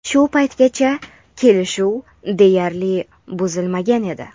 Shu paytgacha kelishuv deyarli buzilmagan edi..